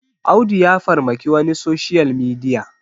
Audu ya farmaki wani a soshiyal midiya